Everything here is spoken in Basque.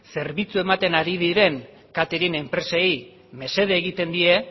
zerbitzu ematen ari diren catering enpresei mesede egiten die